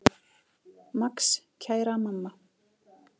Max: Kæra mamma.